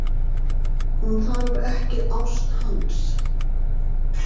Hún þarf ekki ást hans.